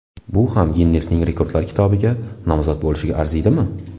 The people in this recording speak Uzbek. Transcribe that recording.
Bu ham Ginnesning rekordlar kitobiga nomzod bo‘lishga arzimaydimi?!